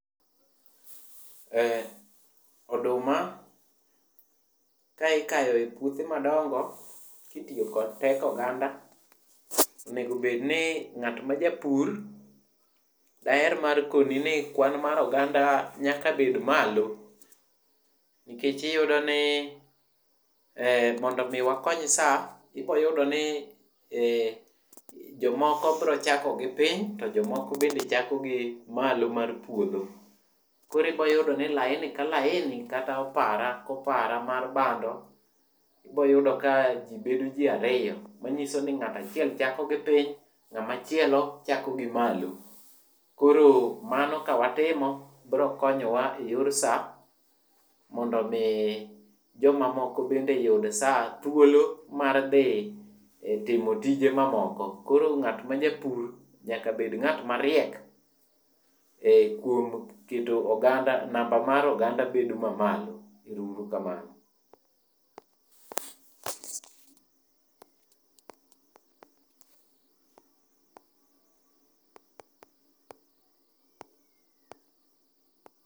Oduma ka ikayo e puothe madongo titiyo kod teko oganda. Onego bed ni ng'at majapur, ber mar kodhi ni kwan mar oganda nyaka bed malo nikech iyudo ni mondo omi wakony sa, iboyudo ni jomoko biro chako gi piny to jomoko bende chako gi malo mar puotho. Korekwa yudo ni laini ka laini kata oparu kata opara kopara mar bando wayudo ka bedo ji ariyo, manyiso ni ng'ato achiel chako gi piny ng'amachielo chako gi malo. Koro mano kawatimo biro konyowa eyor sa mondo omi jomamoko bende oyud sa ,thuolo mar dhi timo tije mamoko. Koro ng'at majapur nyakabed ng'at mariek e kuom keto namba mar oganda bedo mamalo. Ero uru kamano.